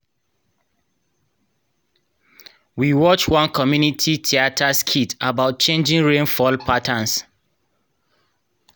we watch one community theatre skit about changing rainfall patterns.